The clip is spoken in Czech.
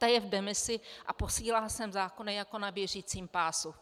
Ta je v demisi a posílá sem zákony jako na běžícím pásu.